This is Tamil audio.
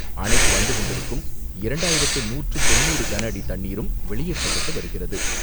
அணைக்கு வந்துகொண்டிருக்கும் இரண்டாயிரத்து நூற்று தொண்ணூறு கனஅடி தண்ணீரும் வெளியேற்றப்பட்டு வருகிறது.